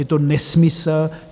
Je to nesmysl.